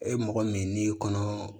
E mɔgɔ min n'i kɔnɔ